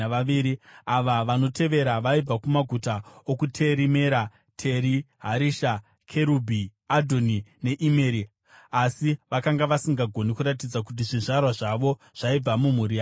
Ava vanotevera vaibva kumaguta okuTeri Mera, Teri Harisha Kerubhi, Adhoni neImeri, asi vakanga vasingagoni kuratidza kuti zvizvarwa zvavo zvaibva mumhuri yaIsraeri: